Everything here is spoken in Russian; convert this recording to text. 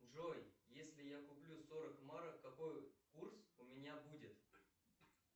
джой если я куплю сорок марок какой курс у меня будет